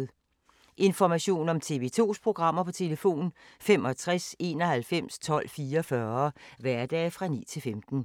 Information om TV 2's programmer: 65 91 12 44, hverdage 9-15.